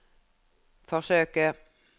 forsøke